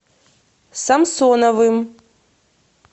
самсоновым